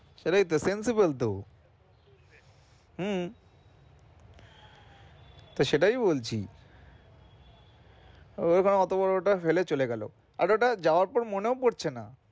এটাই তো sensible তো হম তো সেটাই বলছি ওঅতো বড় টা ফেলে চলে গেলো আর ওটা যাওয়ার পর মনেও পড়ছে না।